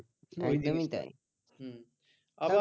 আবার